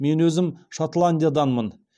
мен өзім шотландияданмын